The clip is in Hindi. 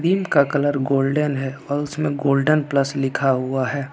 ट्यूब का कलर गोल्डन है और उसमें गोल्डेन प्लस लिखा हुआ हैं।